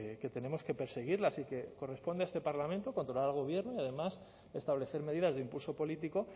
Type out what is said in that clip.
que tenemos que perseguirlas y que corresponde a este parlamento controlar al gobierno y además establecer medidas de impulso político